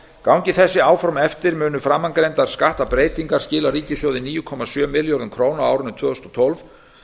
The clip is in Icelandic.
gangi þessi áform eftir munu framangreindar skattbreytingar skila ríkissjóði níu komma sjö milljörðum króna á árinu tvö þúsund og tólf